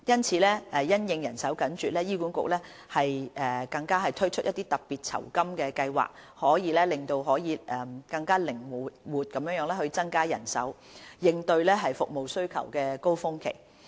此外，因應人手緊絀，醫管局更推出特別酬金計劃，以更靈活地增加人手，應對服務需求高峰期。